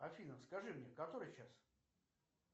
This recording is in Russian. афина скажи мне который час